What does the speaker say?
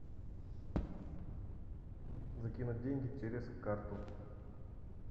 закинуть деньги через карту